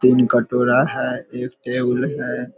तीन कटोरा है एक टेबुल है।